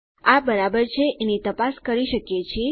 આ બરાબર છે એની તપાસ કરી શકીએ છીએ